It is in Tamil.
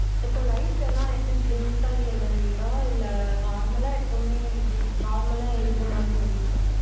இப்போ lights லாம் எப்படி blink ஆகி எரியுதா இல்ல normal எப்பவுமே இது normal எரிகிற மாதிரி எரியுதா?